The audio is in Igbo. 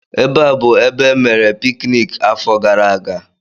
Ebe a bụụrụ ebe emere pikiniki afọ gara aga.